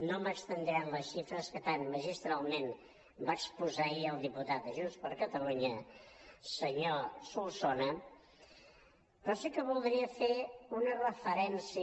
no m’estendré en les xifres que tan magistralment va exposar ahir el diputat de junts per catalunya senyor solsona però sí que voldria fer una referència